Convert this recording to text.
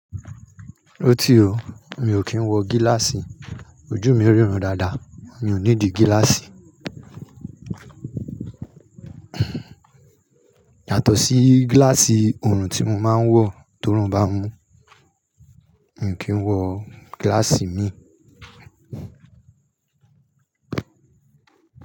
Óti ó, mi ò kí ń wọ gíláàsì, ojú mi rírun dáadáa, mi ò need gíláàsì. Yàtọ̀ sí gíláàsì ọ̀run tí mo máa ń wọ torí ó ń bá mu, mi ò kí ń wọ gíláàsì mi.